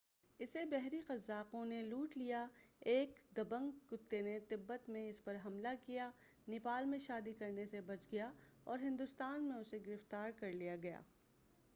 اسے بحری قزاقوں نے لوٹ لیا ایک دبنگ کتے نے تبت میں اس پر حملہ کیا نیپال میں شادی کرنے سے بچ گیا اور ہندوستان میں اسے گرفتار کرلیا گیا